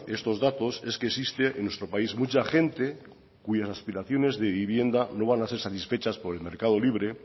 estos datos es que existe en nuestro país mucha gente cuyas aspiraciones de vivienda no van a ser satisfechas por el mercado libre